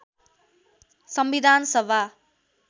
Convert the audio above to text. संविधान सभा